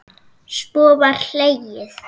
Svo var hlegið.